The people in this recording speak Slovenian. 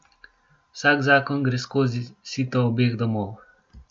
Vsak zakon gre skozi sito obeh domov.